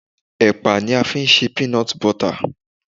Ẹ̀pà ni a fi ṣe Peanut Butter.